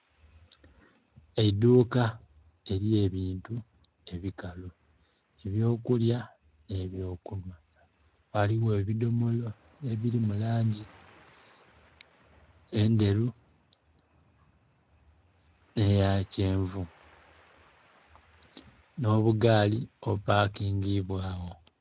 Eidhuka erye bintu ebikalu ebyo kulya nhe byo kunhwa ghaligho ebidhomola ebiri mu langi endheru nhe ya kyenvu nho bugaali obupakingibwa gho.